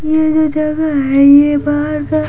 ये जो जगह है ये बाहर का--